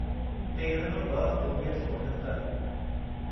तेरहं ॿ उणिवीह सौ उणहतरि